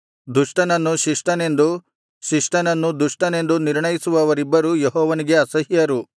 ದುಷ್ಟನನ್ನು ಶಿಷ್ಟನೆಂದು ಶಿಷ್ಟನನ್ನು ದುಷ್ಟನೆಂದು ನಿರ್ಣಯಿಸುವವರಿಬ್ಬರೂ ಯೆಹೋವನಿಗೆ ಅಸಹ್ಯರು